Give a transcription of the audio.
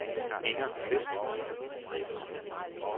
Inger Qvist